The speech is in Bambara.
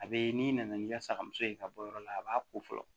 A bɛ n'i nana n'i ka saga muso ye i ka bɔ yɔrɔ la a b'a ko fɔlɔ